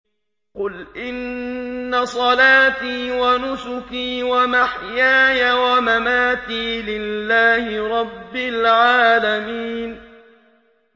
قُلْ إِنَّ صَلَاتِي وَنُسُكِي وَمَحْيَايَ وَمَمَاتِي لِلَّهِ رَبِّ الْعَالَمِينَ